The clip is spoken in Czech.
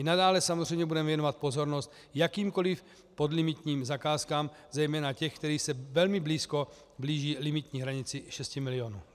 I nadále samozřejmě budeme věnovat pozornost jakýmkoli podlimitním zakázkám, zejména těm, které se velmi blízko blíží limitní hranici 6 milionů.